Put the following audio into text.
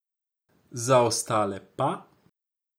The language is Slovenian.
Za ostale pa ...